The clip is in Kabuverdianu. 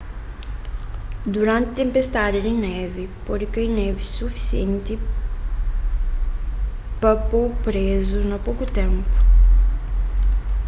duranti tenpestadi di névi pode kai névi sufisienti pa po-bu prézu na poku ténpu